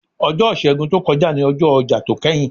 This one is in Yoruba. Ọjọ́ Ìṣègùn tó kọjá ni ọjọ́ ọjà tó kẹ́yìn.